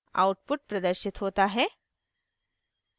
output प्रदर्शित होता है